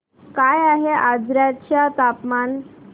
काय आहे आजर्याचे तापमान